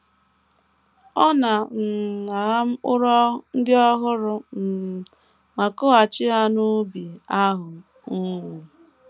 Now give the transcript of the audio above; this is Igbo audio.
Ọ na - um agha mkpụrụ ndị ọhụrụ um ma kụghachi ha n’ubi ahụ um.